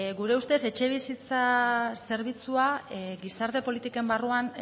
gure ustez etxebizitza zerbitzua gizarte politiken barruan